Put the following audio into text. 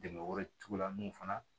Dɛmɛ wɛrɛ tugula mun fana